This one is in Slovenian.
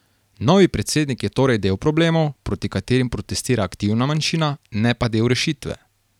Novi predsednik je torej del problemov, proti katerim protestira aktivna manjšina, ne pa del rešitve.